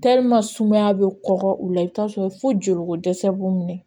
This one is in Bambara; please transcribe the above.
sumaya bɛ kɔgɔ u la i bɛ t'a sɔrɔ fo joliko dɛsɛ b'u minɛ